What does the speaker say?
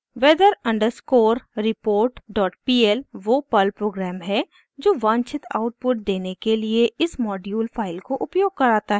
weather underscore report dot pl वो Perl program है जो वांछित आउटपुट देने के लिए इस मॉड्यूल फाइल को उपयोग कराता है